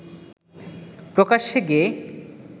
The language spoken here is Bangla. প্রকাশ্যে গেয়ে